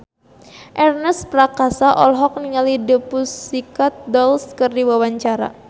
Ernest Prakasa olohok ningali The Pussycat Dolls keur diwawancara